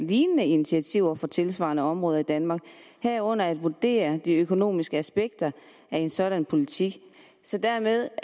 lignende initiativer for tilsvarende områder i danmark herunder at vurdere de økonomiske aspekter af en sådan politik dermed